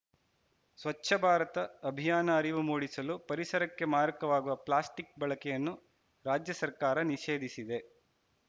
ಸ್ವಚ್ಛ ಭಾರತ ಅಭಿಯಾನ ಅರಿವು ಮೂಡಿಸಲು ಪರಿಸರಕ್ಕೆ ಮಾರಕವಾಗುವ ಪ್ಲಾಸ್ಟಿಕ್‌ ಬಳಕೆಯನ್ನು ರಾಜ್ಯ ಸರ್ಕಾರ ನಿಷೇಧಿಸಿದೆ